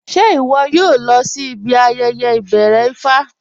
Ṣẹ iwọ̀ yóò lọ̀ sí ibi ayẹyẹ ibẹ̀rẹ̀ Ifá?